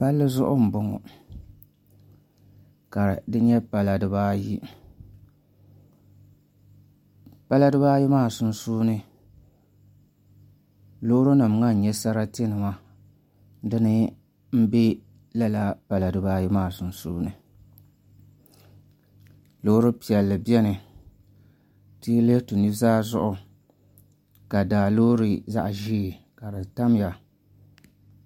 Palli zuɣu n bɔŋɔ ka di nyɛ pala dibaayi pala dibaayi maa sunsuuni loori nim ŋɔ n nyɛ sarati nima dini n bɛ lala pala dibaayi maa sunsuuni loori piɛlli biɛni ti yi lihi ti nuzaa zuɣu ka daa loori zaɣ ʒiɛ ka di tamya